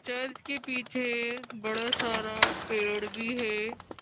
Church के पीछे बड़ा सारा पेड़ भी है।